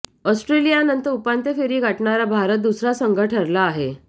ऑस्ट्रेलियानंतर उपांत्य फेरी गाठणारा भारत दुसरा संघ ठरला आहे